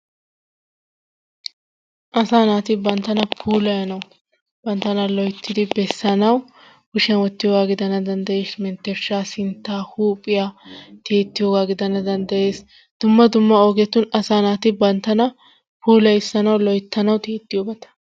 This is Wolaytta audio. Asaa naati banttana puulanayanwu banttana loyttidi bessanawu kushshiyaan wottiyoogaa gidana dandayees menttershshaa sintta huphphiyaa tiyettiyoogaa gidana danddayees duma dumma ogetun asaa naati banttana pullayissanawu loyttanawu tiyettiyoobata.